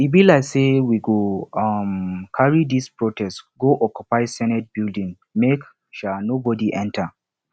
e be like sey we go um carry dis protest go occupy senate building make um nobodi enta